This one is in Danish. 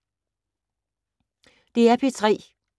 DR P3